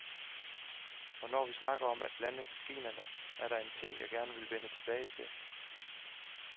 Og når vi snakker om at blande genrerne, er der en ting, jeg gerne vil vende tilbage til.